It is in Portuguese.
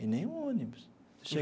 E nem um ônibus.